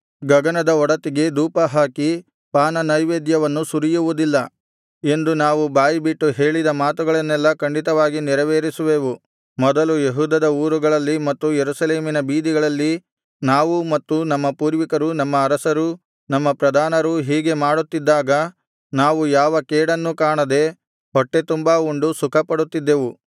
ಗಗನದ ಒಡತಿಗೆ ಧೂಪಹಾಕಿ ಪಾನನೈವೇದ್ಯವನ್ನು ಸುರಿಯುವುದಿಲ್ಲ ಎಂದು ನಾವು ಬಾಯಿಬಿಟ್ಟು ಹೇಳಿದ ಮಾತುಗಳನ್ನೆಲ್ಲಾ ಖಂಡಿತವಾಗಿ ನೆರವೇರಿಸುವೆವು ಮೊದಲು ಯೆಹೂದದ ಊರುಗಳಲ್ಲಿ ಮತ್ತು ಯೆರೂಸಲೇಮಿನ ಬೀದಿಗಳಲ್ಲಿ ನಾವೂ ಮತ್ತು ನಮ್ಮ ಪೂರ್ವಿಕರೂ ನಮ್ಮ ಅರಸರೂ ನಮ್ಮ ಪ್ರಧಾನರೂ ಹೀಗೆ ಮಾಡುತ್ತಿದ್ದಾಗ ನಾವು ಯಾವ ಕೇಡನ್ನೂ ಕಾಣದೆ ಹೊಟ್ಟೆತುಂಬಾ ಉಂಡು ಸುಖಪಡುತ್ತಿದ್ದೆವು